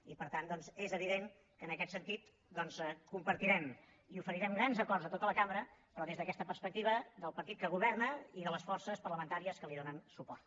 i per tant doncs és evident que en aquest sentit compartirem i oferirem grans acords a tota la cambra però des d’aquesta perspectiva del partit que governa i de les forces parlamentàries que hi donen suport